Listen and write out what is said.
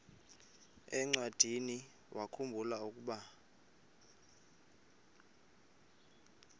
encwadiniwakhu mbula ukuba